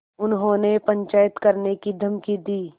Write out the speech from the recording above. उन्होंने पंचायत करने की धमकी दी